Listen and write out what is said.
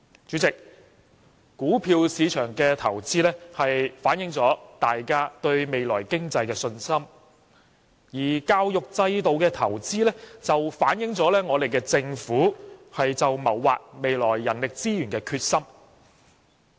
主席，股票市場的投資反映大家對未來經濟的信心，而教育制度的投資則反映政府謀劃未來人力資源的決心。